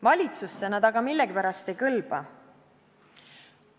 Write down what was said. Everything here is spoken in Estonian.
Valitsusse nad aga millegipärast ei kõlba.